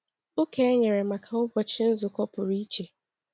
Ụka e nyere maka ụbọchị nzukọ pụrụ iche.